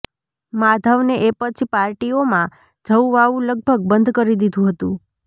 માધવને એ પછી પાર્ટીઓમાં જવું આવવું લગભગ બંધ કરી દીધું હતું